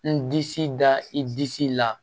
N disi da i disi la